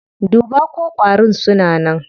Duba ko ƙwarin suna nan.